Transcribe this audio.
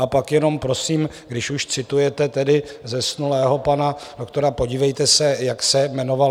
A pak jenom prosím, když už citujete tedy zesnulého pana doktora, podívejte se, jak se jmenoval.